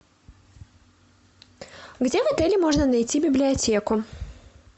где в отеле можно найти библиотеку